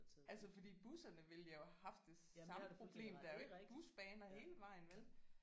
Altså fordi busserne ville jo have haft det samme problem der er jo ikke busbaner hele vejen vel